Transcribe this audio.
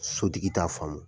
Sotigi t'a faamu.